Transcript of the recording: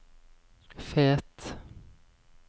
Fet